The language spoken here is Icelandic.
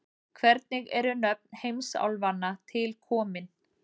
Hvernig eru nöfn heimsálfanna til komin?